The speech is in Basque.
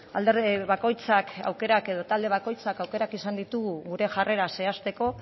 alderdi bakoitzak aukerak edo talde bakoitzak aukerak izan ditugu gure jarrera zehazteko